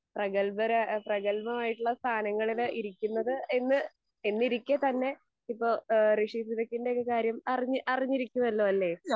പ്രഗൽഭർ പ്രഗത്ഭമായിട്ടുള്ള സ്ഥാനങ്ങളിൽ ഇരിക്കുന്നത് എന്ന് എന്നിരിക്കെ തന്നെ ഇപ്പൊ ഋഷി സുനക്കിൻ്റെ ഒക്കെ ഒരു കാര്യം അറിഞ്ഞ് അറിഞ്ഞിരിക്കുവല്ലൊ അല്ലെ.